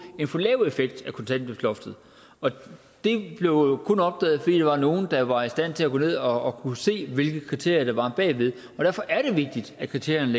en for lav effekt af kontanthjælpsloftet og det blev jo kun opdaget fordi der var nogle der var i stand til at gå ned og se hvilke kriterier der var bag ved derfor er det vigtigt at kriterierne